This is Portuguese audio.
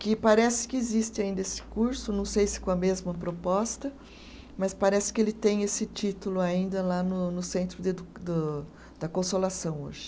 Que parece que existe ainda esse curso, não sei se com a mesma proposta, mas parece que ele tem esse título ainda lá no no centro de edu do, da consolação hoje.